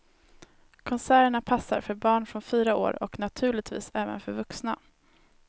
Konserterna passar för barn från fyra år och naturligtvis även för vuxna.